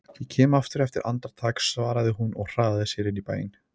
Ég kem aftur eftir andartak svaraði hún og hraðaði sér inn í bæinn.